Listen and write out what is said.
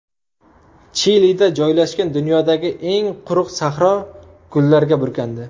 Chilida joylashgan dunyodagi eng quruq sahro gullarga burkandi.